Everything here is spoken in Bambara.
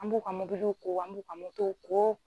An b'u ka mobiliw ko an b'u ka motow ko